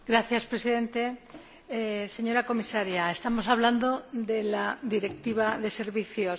Señor Presidente, señora Comisaria, estamos hablando de la Directiva de Servicios.